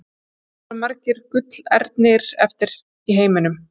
Hvað eru margir gullernir eftir í heiminum?